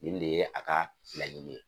Nin de ye a ka laɲini ye.